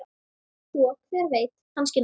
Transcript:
Svo hver veit, kannski næst?